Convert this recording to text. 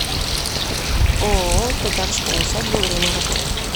ооо татарская усадьба время работы